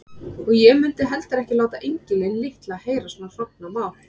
Og ég mundi heldur ekki láta engilinn litla heyra svona hrognamál.